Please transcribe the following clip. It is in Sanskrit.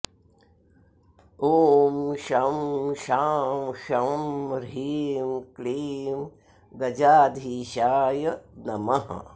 ॐ शं शां षं ह्रीं क्लीं गजाधीशाय नमः